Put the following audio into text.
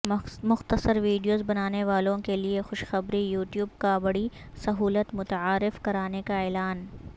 مختصرویڈیوز بنانے والوں کےلیے خوشخبری یوٹیوب کابڑی سہولت متعارف کرانے کااعلان